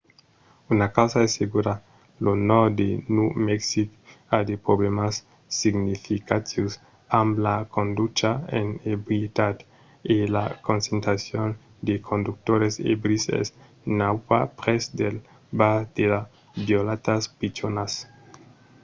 una causa es segura lo nòrd de nòu mexic a de problèmas significatius amb la conducha en ebrietat e la concentracion de conductors ebris es nauta prèp dels bars de las vilòtas pichonas